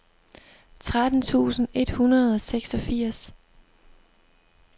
tretten tusind et hundrede og seksogfirs